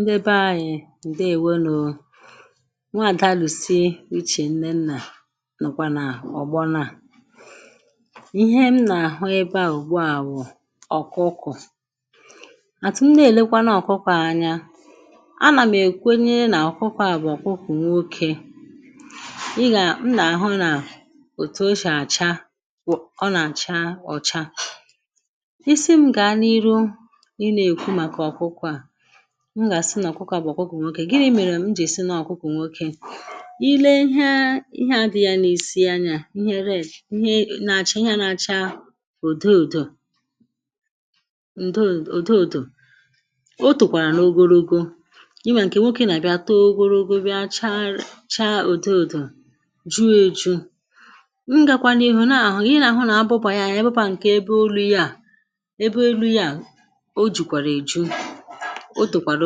ndebe anyị̀ ǹdewenù nwa àda lụ̀sị ichè nne nnà nàkwà nà ọ̀gbọna à ihe m nà-àhụ ebeà ugbua àbụ̀ ọ̀kụkụ̀ àtụ̀ m na-èlekwa nà ọ̀kụkụ̀ anya anà m èkwenye nà ọ̀kụkụ̀ àbụ̀ ọ̀kụkụ̀ nwokė ị gà m nà-àhụ nà òtù o shà àcha ọ nà àcha ọ̀cha isi m ga na ihu ina ekwu maka okukú a m gà-àsị nà kwukọ̇ à bu àkwukọ̀ nwokė gịrị i mèrè m jì sinà ọ̀kụkọ̀ nwokė i le ihe ihe adị̇ghị̇ ya n’isi anyȧ ihe re ihe nà-àcha ihe ȧ na-acha ùdụ̀dụ̀ ǹdụ̀dụ̀ otùkwàrà n’ogologo ima ǹkè nwokė nà-àbịa too ogologo bịa chaa ụ̀dụ̀dụ̀ juo eju̇ m gàkwànà ihu̇ n’ahụ̀ ị nà-àhụ nà abụbà ya ya ebụpà ǹkè ebe elu̇ ya ebe elu̇ ya oju kwàrà eju otokwàrà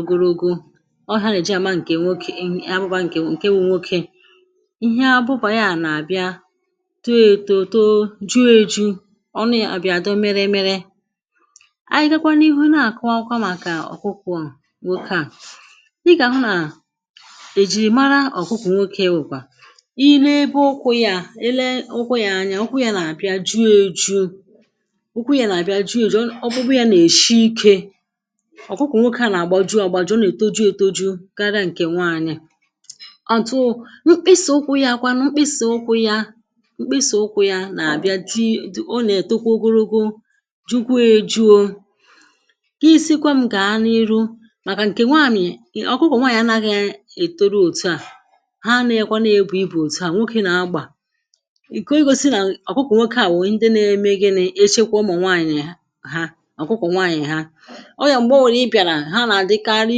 ogologo ọ hà nà èje àma ǹkè nwokè ahụbà ǹkè nwokè ihe abụbà ya nà àbịa too ėtò too juo èju ọnu yà bìàdò mere mere anyị gakwanụ ihu nà àkụakwa màkà ọkụkụ nwoke à ịgà hụ nà èjìrì mara ọ̀kụkụ nwokė wùkwà i lee ebe ụkwụ yȧ i lee ụkwụ yȧ anya ụkwụ yȧ nà àbịa juo èju ụkwú yȧ nà àbịa juo èju ọ̀kpụkpụ yȧ nà èshi ikė ọ̀kụkụ̀ nwokė à nà-àgbaju àgbaju ọ nà-ètoju̇ ètoju̇ karịa ǹkè nwaànyị̀ ọ̀tụ mkpịsò ụkwụ̇ ya akwanụ mkpịsò ụkwụ̇ ya mkpịsò ụkwụ̇ ya nà-àbịa jị̇ dị̀ ọ nà-ètokwa ogologo jukwu ejȯȯ i sikwa m gà na-iru màkà ǹkè nwaànyị̀ ọ̀kụkụ̀ nwaànyị̀ anaghị ètoro òtu à ha nȧ-èkwa n’ebù ibù òtu à nwokė nà-agbà i kė o yȯsi̇ nà ọ̀kụkụ nwokė à wèe ndị na-emėghi̇ nà-echekwȧ ụmụ̀ nwaànyị̀ ha ọ̀kụkụ nwaànyị̀ ha ha nà-àdịkarị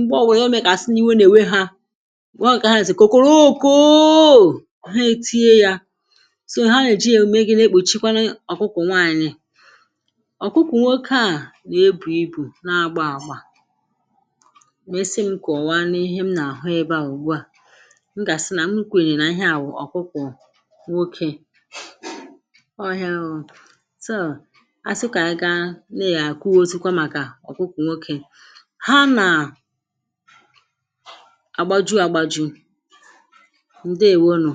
m̀gbaọ̀ wèe ka o me kà àsị n’iwu nà-ènwe ha wụ nwèkà haànàzị kòkùrù ụkụụ ọ̀ha ètinye yȧ so ha nèji ème gị̇ lekpùchikwa ọ̀kụkwụ̀ nwaanyị̀ ọ̀kụkwụ nwoke a nà-ebù ibù na-agba àgba mesie m kà ọ̀wa n’ihe m nà-àhụ ebe à ụ̀gwa m gà-àsị nà m nkwèrè nà ihe àwụ ọ̀kụkwụ̀ nwokė ọhịȧ ahụ̀ tụọ̀ a sị kà a gaa na-àkụo òzikwa màkà ọ̀kụkwụ̀ nwokė àgbàju àgbàju̇ ǹdeèwo nù